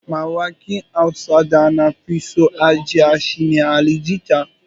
Mawaƙin Hausa da na fi so a jiya shi ne Ali jita.